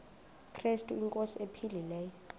krestu inkosi ephilileyo